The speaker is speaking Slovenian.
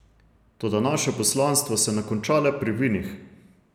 Toda naše poslanstvo se ne konča le pri vinih.